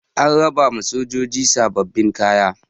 an rabawa sojoji sababbin kaya